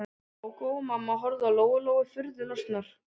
Gógó og mamma horfðu á Lóu Lóu furðu lostnar.